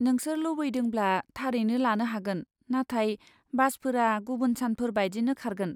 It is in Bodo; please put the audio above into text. नोंसोर लुबैदोंब्ला, थारैनो लानो हागोन, नाथाय बासफोरा गुबुन सानफोर बायदिनो खारगोन।